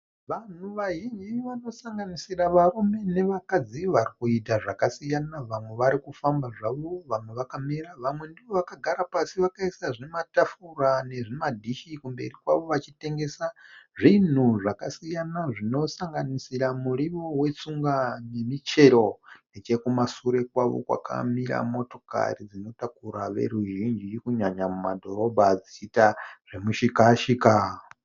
Vanhu vazhinji vanosanganisira varume nevakadzi varikuita zvakasiyana. Vamwe varikufamba zvavo. Vamwe vakamira. Vamwe ndivo vakagara pasi vakaisa zvimatafura nezvimadhishi kumberi kwavo vachitengesa zvinhu zvakasiyana zvinosanganisira muriwo wetsunga nemichero. Nechekumashure kwavo kwakamira motokari dzinotakura veruzhinji kunyanya mumadhorobha dzichiita zvemushika shika.